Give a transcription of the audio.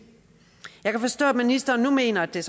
jeg kan så forstå at ministeren nu mener at det